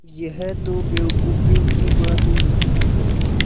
यह तो बेवकूफ़ी की बात हुई